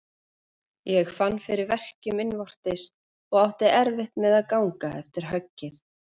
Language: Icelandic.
Ég fann fyrir verkjum innvortis og átti erfitt með gang eftir höggið.